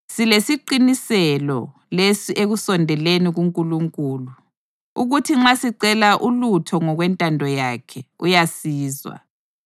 Silesiqiniselo lesi ekusondeleni kuNkulunkulu: ukuthi nxa sicela ulutho ngokwentando yakhe, uyasizwa.